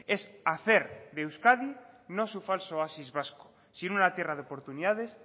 es hacer de euskadi no su falso oasis vasco sino una tierra de oportunidades